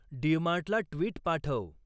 डिमार्टला tweet पाठव